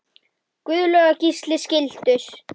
Guðlaug og Gísli skildu.